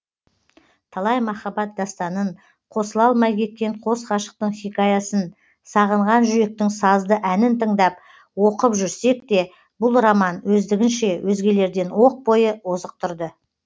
талай махаббат дастанын қосыла алмай кеткен қос ғашықтың хикаясын сағынған жүректің сазды әнін тыңдап оқып жүрсекте бұл роман өздігінше өзгелерден оқ бойы озық тұрды